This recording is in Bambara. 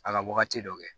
A ka wagati dɔ kɛ